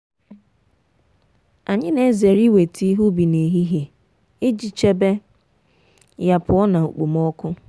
anyị na-ezere iweta ihe ubi n'ehihie iji chebe ya pụọ na okpomọkụ.